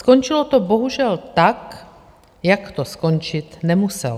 Skončilo to bohužel tak, jak to skončit nemuselo.